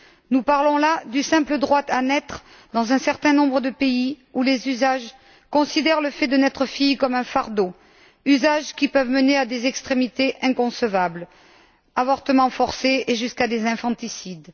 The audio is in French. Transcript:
Nous parlons là du simple droit à naître dans un certain nombre de pays où les usages considèrent le fait de naître fille comme un fardeau, usages qui peuvent mener à des extrémités inconcevables, des avortements forcés et jusqu'à des infanticides.